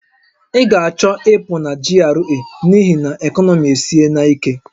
Ị ga-achọ ịpụ na GRA n'ihi na ekọnọmi esiena ike!